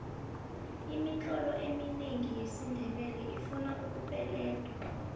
imitlolo eminengi yesindebele ifuna ukupeledwa